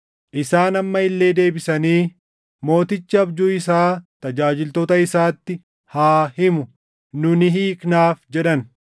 Isaan amma illee deebisanii, “Mootichi abjuu isaa tajaajiltoota isaatti haa himu; nu ni hiiknaaf” jedhan.